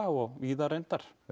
og víðar reyndar